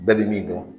Bɛɛ bɛ min dɔn